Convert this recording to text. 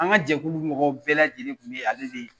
An ka jɛkulu mɔgɔ bɛɛ lajɛlen kun ye ale de ye.